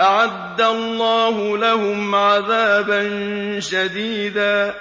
أَعَدَّ اللَّهُ لَهُمْ عَذَابًا شَدِيدًا ۖ